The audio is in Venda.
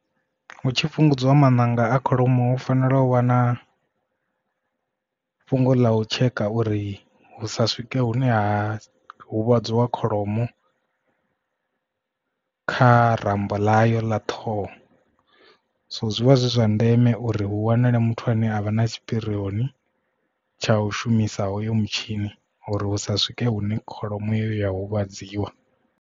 Hu tshi fhungudziwa maṋanga a kholomo hu fanela u vhana fhungo ḽa u tsheka uri hu sa swike hune ha huvhadziwa kholomo kha rambo ḽa yo ḽa ṱhoho so zwivha zwi zwa ndeme uri hu wanalee muthu ane avha na tshipirioni tsha u shumisa hoyo mutshini uri hu sa swike hune kholomo iyo ya huvhadziwa.